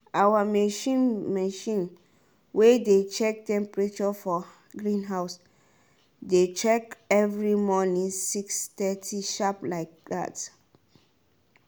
our machine machine way dey check temperature for greenhouse dey check every morning six thirty sharp like that.